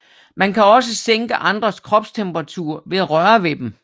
Man kan også sænke andres kropstemperatur ved at røre ved dem